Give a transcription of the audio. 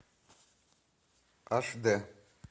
аш д